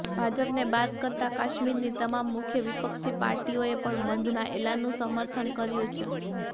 ભાજપને બાદ કરતા કાશ્મીરની તમામ મુખ્ય વિપક્ષી પાર્ટીઓએ પણ બંધના એલાનનું સમર્થન કર્યું છે